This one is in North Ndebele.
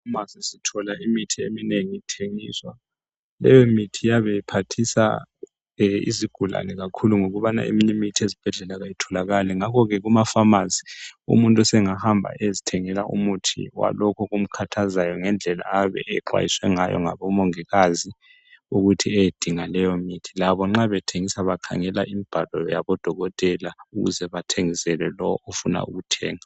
Efamasi sithola imithi eminengi ithengiswa leyo mithi iyabe iphathisa izigulani kakhulu ngokubana eminye imithi ezibhedlela ayitholakali ngakho ke kumafamasi umuntu sengahamba umuntu eyezithengela umuthi kwalokhu okumkhathazayo ngendlela ayabe exwayise ngayo ngabomongikazi ukuthi eyedinga leyo mithi labo nxa bethengisa bakhangela imibhalo yabodokotela ukuze bathengisele lowo ofuna ukuthenga.